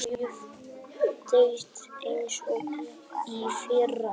Þetta er rosalega jöfn deild eins og í fyrra.